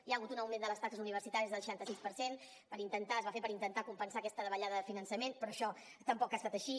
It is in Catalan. hi ha hagut un augment de les taxes universitàries del seixanta sis per cent es va fer per intentar compensar aquesta davallada de finançament però això tampoc ha estat així